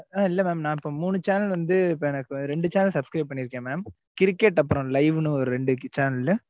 ஆஹ் இல்ல mam, நான் இப்ப மூணு channel வந்து, இப்ப எனக்கு இரண்டு channel subscribe பண்ணியிருக்கேன் mam. cricket அப்புறம் live ன்னு ஒரு ரெண்டு channel லு